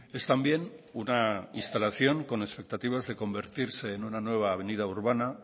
es también una instalación con expectativas de convertirse en una nueva avenida urbana